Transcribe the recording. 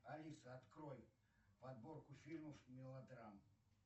алиса открой подборку фильмов мелодрам